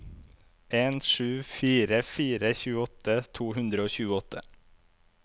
en sju fire fire tjueåtte to hundre og tjueåtte